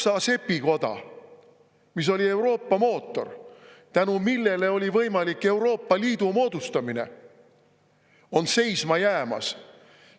Saksa sepikoda, mis oli Euroopa mootor, tänu millele oli võimalik Euroopa Liidu moodustamine, on seisma jäämas.